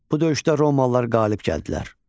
Bu döyüşdə romalılar qalib gəldilər.